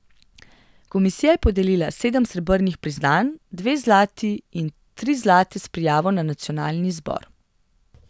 Komisija je podelila sedem srebrnih priznanj, dve zlati in tri zlate s prijavo na nacionalni izbor.